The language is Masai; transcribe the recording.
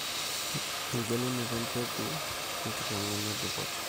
Engelunoto empeku , enkitngena e dupoto